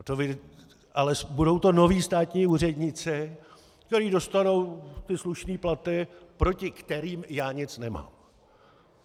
Ale budou to noví státní úředníci, kteří dostanou ty slušné platy, proti kterým já nic nemám.